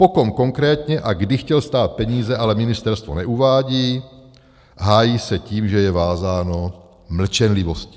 Po kom konkrétně a kdy chtěl stát peníze, ale ministerstvo neuvádí, hájí se tím, že je vázáno mlčenlivostí.